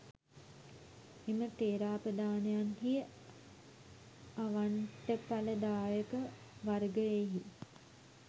එම ථෙරාපදානයන්හි අවණ්ටඵලදායක වර්ගයෙහි